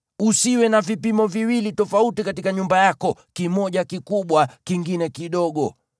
Usiwe na vipimo viwili tofauti katika nyumba yako, kimoja kikubwa, kingine kidogo.